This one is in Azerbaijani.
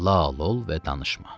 Lal ol və danışma.